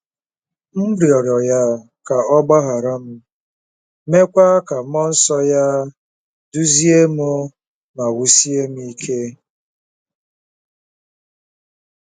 M rịọrọ ya ka ọ gbaghara m, meekwa ka mmụọ nsọ ya duzie m ma wusie m ike.